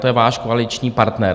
To je váš koaliční partner.